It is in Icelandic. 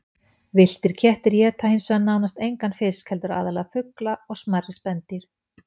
Villtir kettir éta hins vegar nánast engan fisk heldur aðallega fugla og smærri spendýr.